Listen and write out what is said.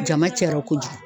Jama cayara kojugu.